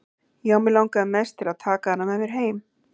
Já, mig langaði mest til að taka hana með mér heim.